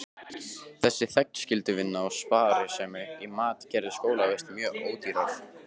Þessi þegnskylduvinna og sparsemi í mat gerðu skólavist mjög ódýra.